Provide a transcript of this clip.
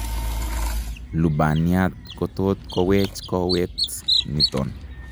Lubaniat kotot kowech kowet niton